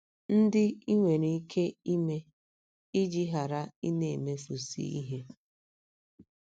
ndị i nwere ike ime iji ghara ịna - emefusị ihe?